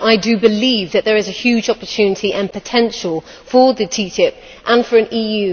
I do believe that there is a huge opportunity and potential for the TTIP and for an EU